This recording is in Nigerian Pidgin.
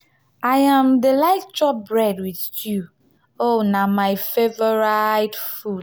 i um dey like chop bread wit stew na um my favourite food.